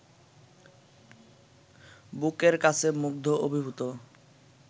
বুকের কাছে মুগ্ধ অভিভূত